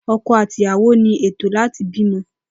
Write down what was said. Oko àti ìyàwó ní ètó láti bí ọmọ